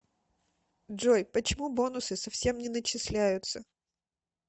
джой почему бонусы совсем не начисляются